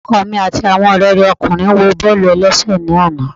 Ọkọ mi ati awọn ọrẹ rẹ ọkunrin wo bọọlu ẹlẹṣẹ ni ana.